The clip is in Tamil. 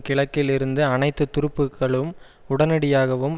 கிழக்கில் இருந்து அனைத்து துருப்புக்களும் உடனடியாகவும்